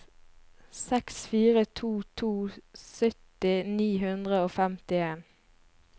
seks fire to to sytti ni hundre og femtien